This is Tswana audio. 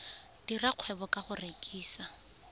dira kgwebo ka go rekisa